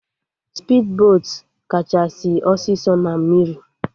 Spidbotu kachasị ọsịsọ na mmiri